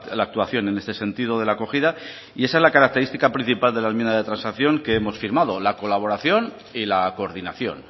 la actuación en este sentido de la acogida y esa es la característica principal de la enmienda de transacción que hemos firmado la colaboración y la coordinación